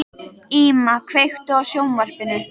Íma, kveiktu á sjónvarpinu.